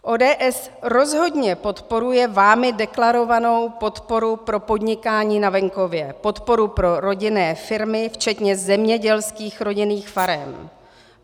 ODS rozhodně podporuje vámi deklarovanou podporu pro podnikání na venkově, podporu pro rodinné firmy včetně zemědělských rodinných farem.